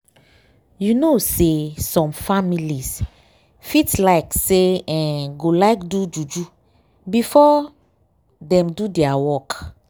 you know say some families fit like say eeh / go like do juju before dem do dia work.